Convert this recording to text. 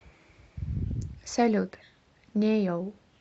салют не йоу